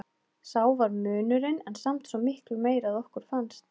Sá var munurinn en samt svo miklu meiri að okkur fannst.